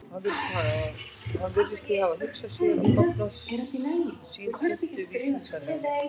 Hann virðist því hafa hugsað sér, að stofnun sín sinnti vísindalegri